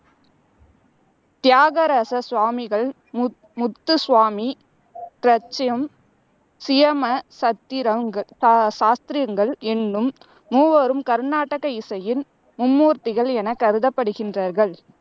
தியாகராச சுவாமிகள், முத் முத்துசுவாமி சியமா சாத்திரங்கள் சாஸ்த்திரங்கள் என்னும் மூவரும் கர்நாடக இசையின் மும்மூர்த்திகள் எனக் கருதப்படுகின்றார்கள்.